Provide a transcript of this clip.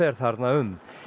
þarna um